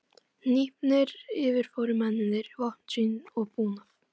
Hnípnir yfirfóru mennirnir vopn sín og búnað.